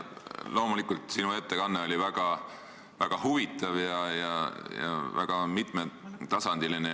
Loomulikult, sinu ettekanne oli väga huvitav ja väga mitmetasandiline.